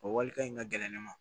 O walikan in ka gɛlɛn ne ma